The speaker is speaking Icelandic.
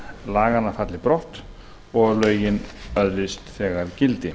laganna falli brott og lögin öðlist þegar gildi